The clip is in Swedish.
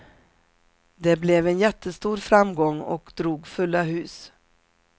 Det blev en jättestor framgång och drog fulla hus.